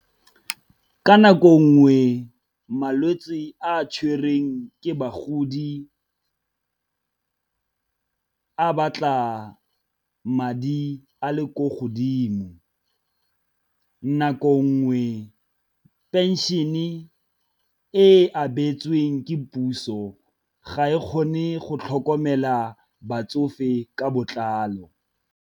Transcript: Ka nako ngwe malwetse a tshwereng ke bagodi a batla madi a le ko godimo, nako ngwe pension-e e abetsweng ke puso ga e kgone go tlhokomela batsofe ka botlalo.